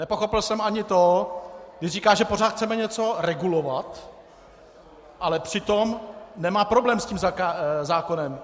Nepochopil jsem ani to, když říká, že pořád chceme něco regulovat, ale přitom nemá problém s tím zákonem.